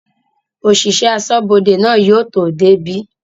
òsìsẹ̀ asọ́bodè náà yóò tó débí.